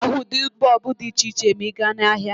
Ị ga-ahụ ụdị bọọbụ dị iche iche ma ị gaa n'ahịa